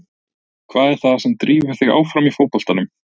Hvað er það sem drífur þig áfram í fótboltanum?